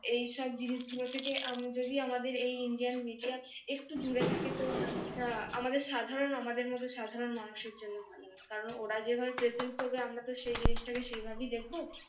এই সব জিনিস গুলো থেকে আমি যদি আমাদের এই ইন্ডিয়ান media একটু দূরে থাকে তো আহ এমডি সাধারণ আমাদের মতো সাধারণ মানুষের জন্য ভালো কারণ ওরা যেভাবে present করবে আমরা তো সেই জিনিসটা কে সেইভাবেই দেখবো